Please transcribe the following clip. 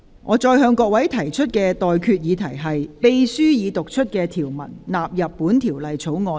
我現在向各位提出的待決議題是：秘書已讀出的條文納入本條例草案。